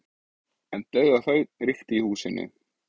En dauðaþögn ríkti í húsinu.